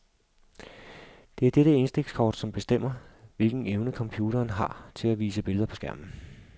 Det er dette indstikskort som bestemmer, hvilken evne computeren har til at vise billeder på skærmen.